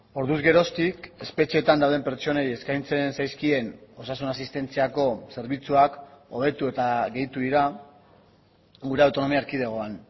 orduz geroztik espetxeetan dauden pertsonei eskaintzen zaizkien osasun asistentziako zerbitzuak hobetu eta gehitu dira gure autonomia erkidegoan